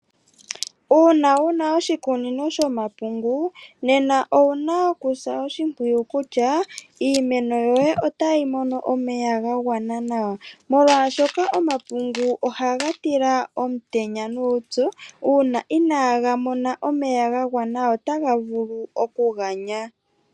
Uuna wuna oshikunino shomapungu nena owuna okusa oshimpwiyu kutya iimeno yoye otayi mono omeya ga gwana nawa . Molwaashoka omapungu ohaga tila omutenya nuupyu. Uuna inaaga mona omeya ga gwana ohaga tila omutenya.